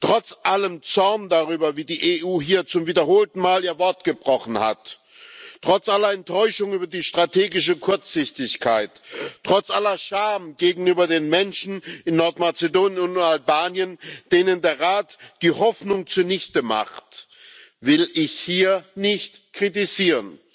Trotz allem Zorn darüber, wie die EU hier zum wiederholten Mal ihr Wort gebrochen hat, trotz aller Enttäuschung über die strategische Kurzsichtigkeit, trotz aller Scham gegenüber den Menschen in Nordmazedonien und Albanien, denen der Rat die Hoffnung zunichtemacht, will ich hier nicht kritisieren.